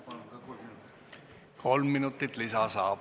Saate kolm minutit lisaks.